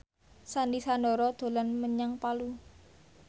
Sandy Sandoro dolan menyang Palu